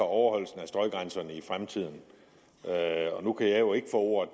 overholdelsen af støjgrænserne i fremtiden nu kan jeg jo ikke få ordet